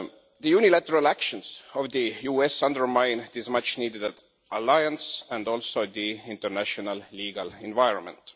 The unilateral actions of the US undermine this much needed alliance and also the international legal environment.